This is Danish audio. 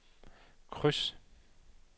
kryds